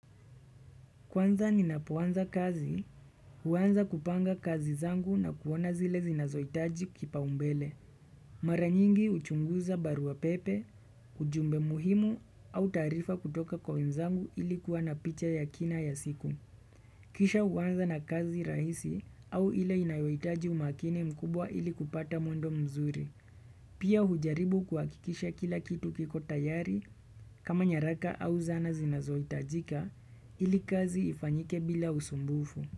Kwanza ninapoanza kazi, huanza kupanga kazi zangu na kuona zile zinazoitaji kipaumbele. Mara nyingi uchunguza barua pepe, ujumbe muhimu au taarifa kutoka kwa wezangu ili kuwa na picha ya kina ya siku. Kisha huanza na kazi rahisi au ile inayoitaji umakini mkubwa ili kupata mwendo mzuri. Pia hujaribu kuhakikisha kila kitu kiko tayari kama nyaraka au zana zinazoitajika ili kazi ifanyike bila usumbufu.